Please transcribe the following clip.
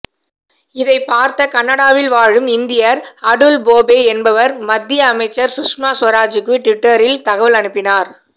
இதைப் பார்த்த கனடாவில் வாழும் இந்தியர் அடுல் போபே என்பவர் மத்தியஅமைச்சர் சுஷ்மா சுவராஜுக்குடுவிட்டரில் தகவல் அனுப்பினார்